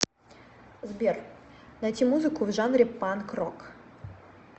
сбер найти музыку в жанре панк рок